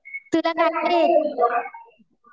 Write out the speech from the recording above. तुला काय काय येतं गं?